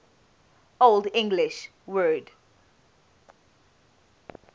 old english word